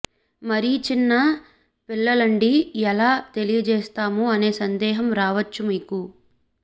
మరీ చిన్న పిల్లలండి ఎలా తెలియచేస్తాము అనే సందేహం రావచ్చు మీకు